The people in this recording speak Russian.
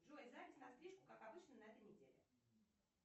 джой запись на стрижку как обычно на этой неделе